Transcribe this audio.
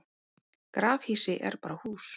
grafhýsi er bara hús